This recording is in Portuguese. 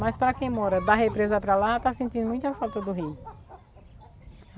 Mas para quem mora da represa para lá, está sentindo muita falta do rio.